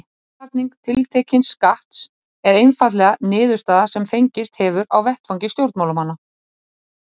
Álagning tiltekins skatts er einfaldlega niðurstaða sem fengist hefur á vettvangi stjórnmálanna.